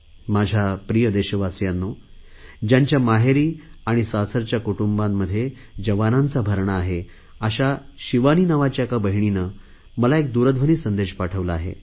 माझ्या प्रिय देशवासियांनो ज्यांच्या माहेरी आणि सासरच्या कुटुंबांत जवानांचा भरणा आहे अशा शिवानी नावाच्या एका बहिणीने मला एक दूरध्वनी संदेश पाठविला आहे